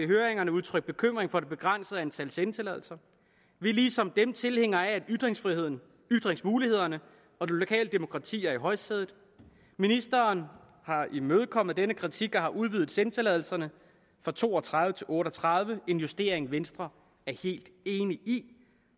høringen udtrykt bekymring for det begrænsede antal sendetilladelser vi er ligesom dem tilhængere af at ytringsfriheden ytringsmulighederne og det lokale demokrati er i højsædet ministeren har imødekommet denne kritik og har udvidet sendetilladelserne fra to og tredive til otte og tredive og det en justering venstre er helt enige i